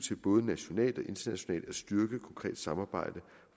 til både nationalt og internationalt at styrke konkret samarbejde